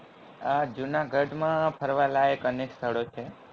આ જુનાગઢ માં ફરવા લાયક અનેક સ્થળો છે